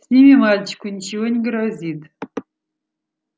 с ними мальчику ничего не грозит